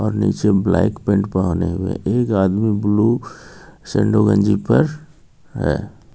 और निचे black pant पहने हुए एक आदमी ब्लू सेंडो गंजी पर हे.